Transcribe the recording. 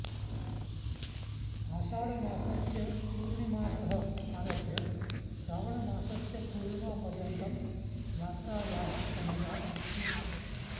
आषाढमासस्य पूर्णिमातः आरभ्य श्रावणमासस्य पूर्णिमापर्यन्तं यात्रायाः समयः अस्ति